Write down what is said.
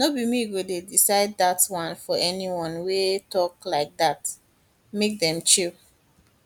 no be me go decide dat one for anyone wey dey tok like dat make dem chill